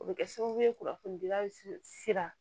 O bɛ kɛ sababu ye kunnafonidilan sira